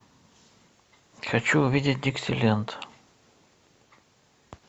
хочу увидеть диксиленд